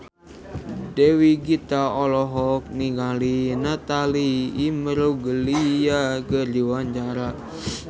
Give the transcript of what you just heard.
Dewi Gita olohok ningali Natalie Imbruglia keur diwawancara